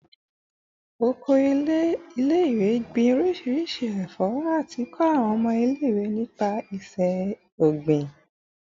Oko ile-iwe gbin orisirisi ẹfọ ati kọ awọn ọmọ ile-iwe nipa iṣẹ-ogbin